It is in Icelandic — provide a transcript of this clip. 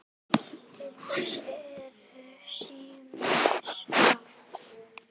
Til þess eru ýmis ráð.